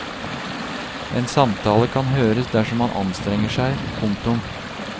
En samtale kan høres dersom man anstrenger seg. punktum